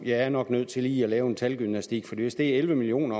er nok nødt til lige at lave lidt talgymnastik for hvis det er elleve million